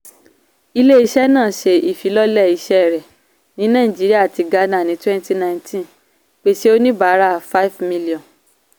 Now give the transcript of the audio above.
ilé-iṣẹ́ náà ṣé ifilọlẹ iṣẹ́ rẹ ní naijiría àti ghana ní twenty nineteen pèsè oníbàárà five million.